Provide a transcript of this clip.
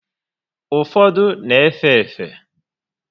Ụfọdụ n'efe efe